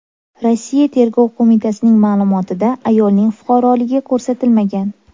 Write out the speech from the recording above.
Rossiya Tergov qo‘mitasining ma’lumotida ayolning fuqaroligi ko‘rsatilmagan.